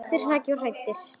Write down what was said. Kristur hrakinn og hæddur.